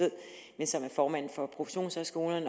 ved er formand for professionshøjskolernes